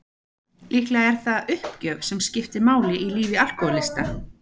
Líklega er það uppgjöf sem skiptir máli í lífi alkohólista.